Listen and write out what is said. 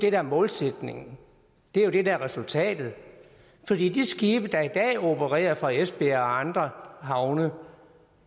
er målsætningen det er det der er resultatet for de skibe der i dag opererer fra esbjerg og andre havne